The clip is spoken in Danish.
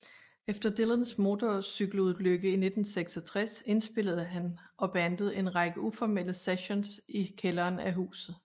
Efter Dylans motorcykelulykke i 1966 indspillede han og bandet en række uformelle sessions i kælderen af huset